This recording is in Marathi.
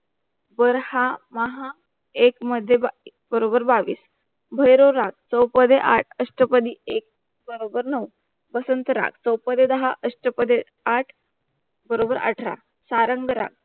वर हा महा एक मध्ये बरोबर बावीस, भैरव राग चौपदे आठ, अष्टपदी एक बरोबर नऊ बसंत राग चौपदे दहा अष्टपदे आठ बरोबर अठरा सारंग राग